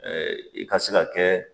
Ɛɛ i ka se ka kɛ